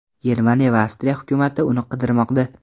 Germaniya va Avstriya hukumati uni qidirmoqda.